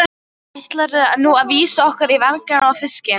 Ætlarðu nú vísa okkur á varninginn og fiskinn?